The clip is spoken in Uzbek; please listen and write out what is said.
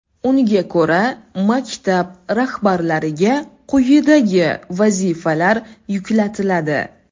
Unga ko‘ra, maktab rahbarlariga quyidagi vazifalar yuklatiladi.